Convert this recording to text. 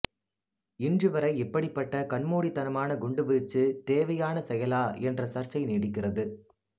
இன்று வரை இப்படிப்பட்ட கண்மூடித்தனமான குண்டுவீச்சு தேவையான செயலா என்ற சர்ச்சை நீடிக்கிறது